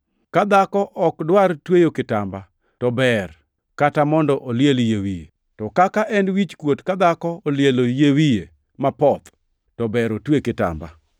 Ka dhako ok dwar tweyo kitamba, to ber kata mondo oliel yie wiye. To kaka en wichkuot ka dhako olielo yie wiye mapoth, to ber otwe kitamba.